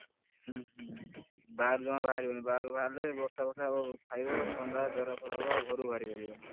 ବାହାରକୁ ଜମା ବାହାରି ବନି ବାହାରକୁ ବାହାରିଲେ ବର୍ଷା ଫର୍ଷା ଖାଇବ ଥଣ୍ଡା ଜର ଫର ହବ ଆଉ ଘରୁ ଜମା ବାହାରି ପାରିବନି।